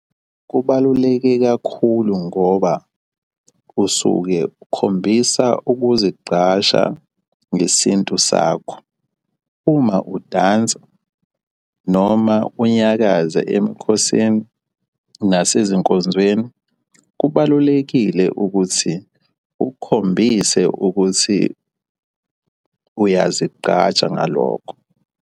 Kubaluleke kakhulu ngoba usuke ukhombisa ukuzigqaja ngesintu sakho. Uma udansa noma unyakaza emkhosini nasezinkonzweni, kubalulekile ukuthi ukukhombise ukuthi uyazigqaja ngalokho.